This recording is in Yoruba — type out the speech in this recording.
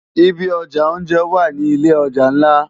Ibi òjá óonjè wá ni ilé òjá nlá